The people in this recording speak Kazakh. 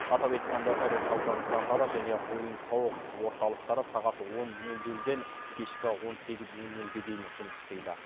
атап айтқанда ірі сауда нысандары және ойын сауық орталықтары сағат он нөл нөлден кешкі он сегіз нөл нөлге дейін жұмыс істейді